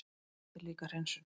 En þetta er líka hreinsun.